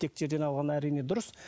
текті жерден алған әрине дұрыс